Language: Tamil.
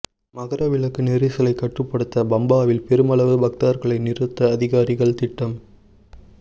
மகரவிளக்கு நெரிசலை கட்டுப்படுத்த பம்பாவில் பெருமளவு பக்தர்களை நிறுத்த அதிகாரிகள் திட்டம்